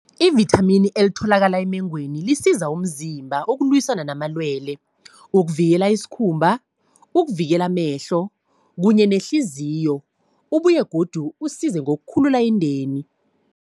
I-vithamini elitholakala emengweni, lisiza umzimba ukulwisana namalwele. Wokuvikela isikhumba, ukuvikela amehlo, kunye nehliziyo. Ubuye godu usize ngokukhulula indeni.